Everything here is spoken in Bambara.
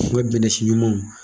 U bɛ bɛnɛ si ɲumanw